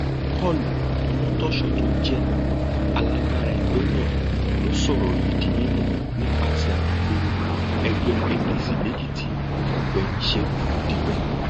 paul omotoso tó jẹ alága ẹgbẹ náà ló sọrọ yìí di mímọ nípasẹ alūkkoro ẹgbẹ apc lèkìtì ọgbẹni ṣẹgun dípẹ